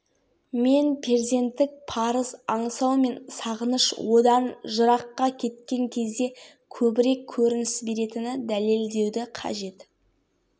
әр қазақстандық әр қазақ ойлану керек мен елімен не істедім не пайда әкелдім ерлан сайлаубай гумилев